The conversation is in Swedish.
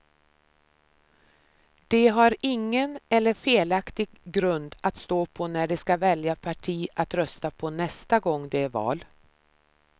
De har ingen eller felaktig grund att stå på när de skall välja parti att rösta på nästa gång det är val.